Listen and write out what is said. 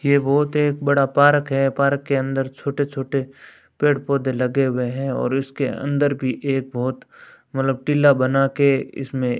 ये बहोत एक बड़ा पारक है पारक के अंदर छोटे छोटे पेड़ पौधे लगे हुए हैं और उसके अंदर भी एक बहोत मतलब टीला बना के इसमें --